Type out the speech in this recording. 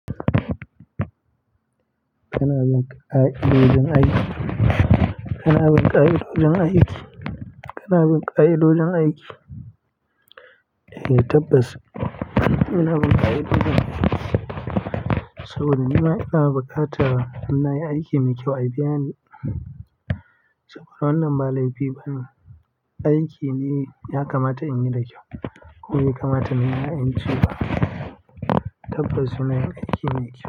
Kina bin ƙa'idojin aiki? Kina bin ƙaye dodon aiki? Kina bin ƙaye dodon aiki? Eh tabbas ina bin ƙa'idojin aiki saboda nima ina buƙatar in na yi aiki mai kyau a biya ni. Saboda wannan ba laifi ba ne, aiki ne ya kamata in yi da kyau kuma ya kamata nima in ci. Tabbas ina yin aiki mai kyau.